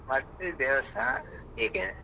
ಮತ್ತೆ ದೇವಸ್ಥಾನ ಹೀಗೆ?